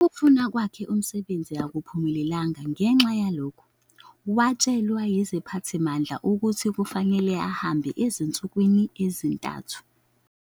Ukufuna kwakhe umsebenzi akuphumelelanga, ngenxa yalokho, watshelwa yiziphathimandla ukuthi kufanele ahambe ezinsukwini ezintathu.